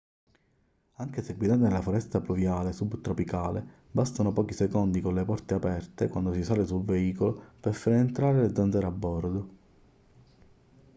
anche se guidate nella foresta pluviale subtropicale bastano pochi secondi con le porte aperte quando si sale sul veicolo per far entrare le zanzare a bordo